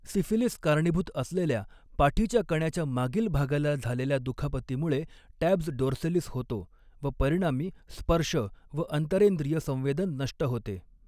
Syphilis कारणीभूत असलेल्या पाठीच्या कण्याच्या मागील भागाला झालेल्या दुखापतीमुळे टॅब्स डोर्सॅलिस होतो व परिणामी स्पर्श व अंतरेंद्रिय संवेदन नष्ट होते.